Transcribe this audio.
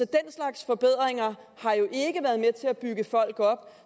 den slags forbedringer har jo ikke været med til at bygge folk op